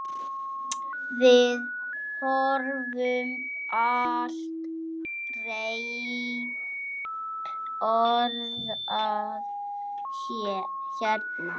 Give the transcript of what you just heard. Við höfum aldrei borðað hérna.